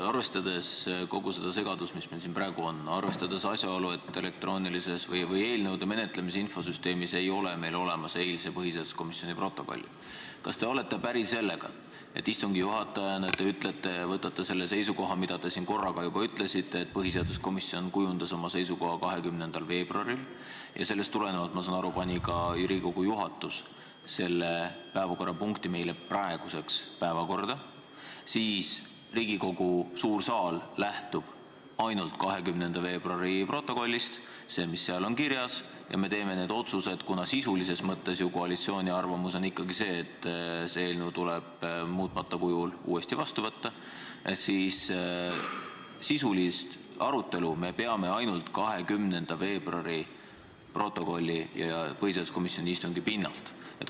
Arvestades kogu seda segadust, mis meil siin praegu on, arvestades asjaolu, et eelnõude menetlemise infosüsteemis ei ole meil olemas eilse põhiseaduskomisjoni istungi protokolli, siis kas te olete päri sellega, et istungi juhatajana te ütlete ja võtate seisukoha, mida te siin korra ka juba väljendasite, et kuna põhiseaduskomisjon kujundas oma seisukoha 20. veebruaril ja sellest tulenevalt pani ka Riigikogu juhatus selle päevakorrapunkti meile praeguseks päevakorda, siis Riigikogu suur saal lähtub ainult 20. veebruari protokollist, sellest, mis seal on kirjas, ning me teeme otsused – kuna sisulises mõttes on ju koalitsiooni arvamus ikkagi see, et eelnõu tuleb muutmata kujul uuesti vastu võtta – ja peame sisulist arutelu ainult 20. veebruari protokolli ja põhiseaduskomisjoni istungi pinnal?